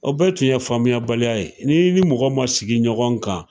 O bɛɛ tun ye faamuya baliya ye . N'i ni mɔgɔ ma sigi ɲɔgɔn kan.